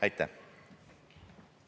Aitäh!